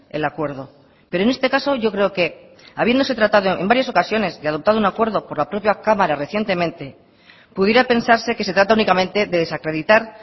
el acuerdo pero en este caso yo creo que habiéndose tratado en varias ocasiones y adoptado un acuerdo por la propia cámara recientemente pudiera pensarse que se trata únicamente de desacreditar